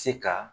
Se ka